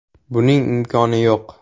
Buning imkoni yo‘q.